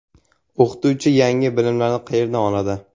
O‘qituvchi yangi bilimlarni qayerdan oladi?